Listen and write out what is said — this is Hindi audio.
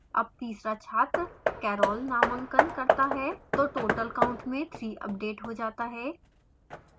जब तीसरा छात्र carol नामांकन करता है तो total count में 3 अपडेट हो जाता है